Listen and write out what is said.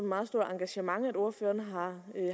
meget stort engagement at ordføreren